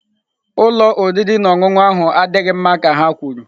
Ụlọ oriri na ọṅụṅụ ahụ adịghị mma ka ha kwuru.